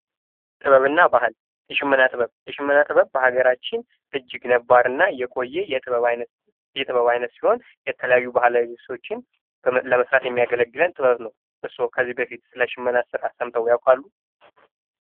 ጥበብና ባህል፡-የሽመና ጥበብ በሀገራችን እጅግ ነባርና የቆየ የጥበብ አይነት ሲሆን የተለያዩ ባህላዊ ልብሶችን ለመስራት የሚያገለግለን ጥበብ ነው። እርስዎ ከዚህ በፊት ስለ ሽመና ስራ ሰምተው ያውቃሉ?